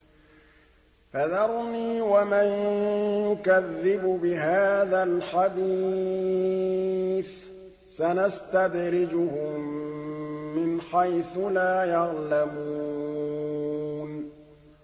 فَذَرْنِي وَمَن يُكَذِّبُ بِهَٰذَا الْحَدِيثِ ۖ سَنَسْتَدْرِجُهُم مِّنْ حَيْثُ لَا يَعْلَمُونَ